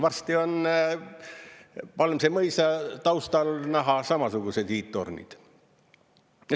Varsti on Palmse mõisa taustal näha samasugused hiidtornid.